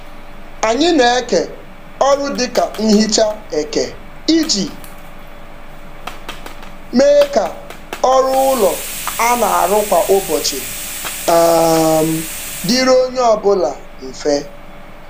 Anyị na-eke ọrụ dị ka nhicha eke iji mee ka ọrụ ụlọ a na-arụ kwa ụbọchị um dịrị onye ọbụla mfe.